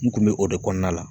N kun be o de kɔnɔna la